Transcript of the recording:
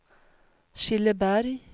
Killeberg